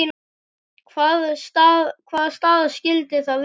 Hvaða staða skyldi það vera?